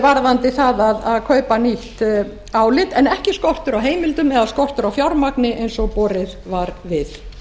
varðandi það að kaupa nýtt álit en ekki skortur á heimildum eða skortur á fjármagni eins og borið var við